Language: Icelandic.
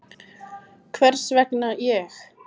Hvers vegna ég?